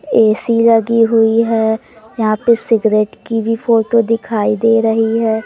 AC लगी हुई है यहां पे सिगरेट की भी फोटो दिखाई दे रही है।